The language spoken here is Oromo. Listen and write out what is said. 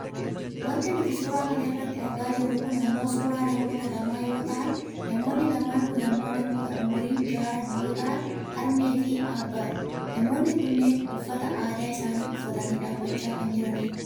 Wanti nuti suuraa kana irratti argaa jirru kun ammoo suuraa namoota lamaa yoo ta'an namoonni lamaan kun ammoo namoota umuriin jaaran yoo ta'an Harmeefi Abbaadha. Namoonni kunneen uffata aadaa isaanii uffatanii dhaabbachaa kan jiranidha.